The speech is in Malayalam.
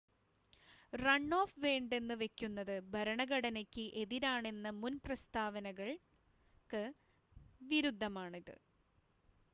റൺ ഓഫ് വേണ്ടെന്ന് വെക്കുന്നത് ഭരണഘടനയ്ക്ക് എതിരാണെന്ന മുൻ പ്രസ്താവനകൾക്ക് വിരുദ്ധമാണിത്